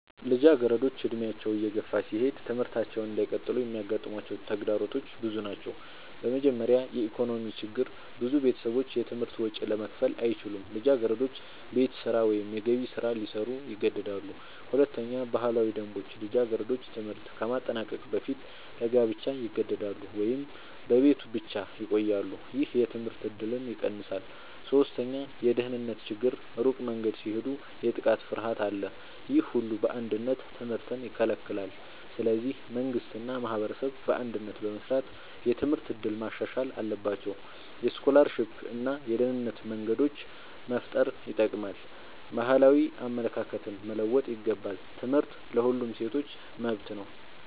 ልጃገረዶች ዕድሜያቸው እየገፋ ሲሄድ ትምህርታቸውን እንዳይቀጥሉ የሚያጋጥሟቸው ተግዳሮቶች ብዙ ናቸው። በመጀመሪያ የኢኮኖሚ ችግር ብዙ ቤተሰቦች የትምህርት ወጪ ለመክፈል አይችሉም። ልጃገረዶች ቤት ስራ ወይም የገቢ ስራ ሊሰሩ ይገደዳሉ። ሁለተኛ ባህላዊ ደንቦች ልጃገረዶች ትምህርት ከማጠናቀቅ በፊት ለጋብቻ ይገደዳሉ ወይም በቤት ብቻ ይቆያሉ። ይህ የትምህርት እድልን ይቀንሳል። ሶስተኛ የደህንነት ችግር ሩቅ መንገድ ሲሄዱ የጥቃት ፍርሃት አለ። ይህ ሁሉ በአንድነት ትምህርትን ይከለክላል። ስለዚህ መንግሥት እና ማህበረሰብ በአንድነት በመስራት የትምህርት እድል ማሻሻል አለባቸው። የስኮላርሺፕ እና የደህንነት መንገዶች መፍጠር ይጠቅማል። ባህላዊ አመለካከቶች መለወጥ ይገባል። ትምህርት ለሁሉም ሴቶች መብት ነው።